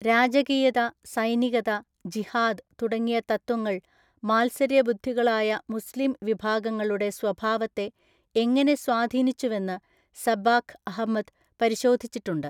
രാജകീയത, സൈനികത, ജിഹാദ് തുടങ്ങിയ തത്ത്വങ്ങൾ മാത്സര്യബുദ്ധികളായ മുസ്ലീം വിഭാഗങ്ങളുടെ സ്വഭാവത്തെ എങ്ങനെ സ്വാധീനിച്ചുവെന്ന് സബ്ബാഖ് അഹമ്മദ് പരിശോധിച്ചിട്ടുണ്ട്.